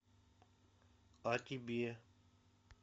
а тебе